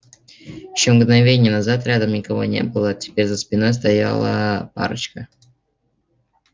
ещё мгновение назад рядом никого не было теперь за спиной стояла парочка